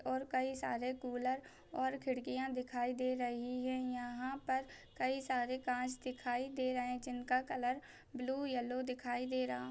और कई सारे कूलर और खिड़कियां दिखाई दे रही है यहाँ पर कई सारे कांच दिखाई दे रहे जिनका कलर ब्लू येलो दिखाई दे रहा--